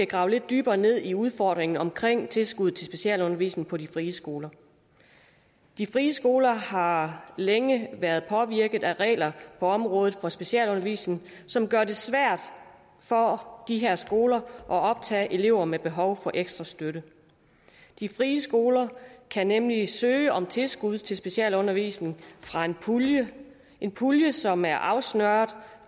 grave lidt dybere ned i udfordringen omkring tilskuddet til specialundervisning på de frie skoler de frie skoler har længe været påvirket af regler på området for specialundervisning som gør det svært for de her skoler at optage elever med behov for ekstra støtte de frie skoler kan nemlig søge om tilskud til specialundervisning fra en pulje en pulje som er afsnøret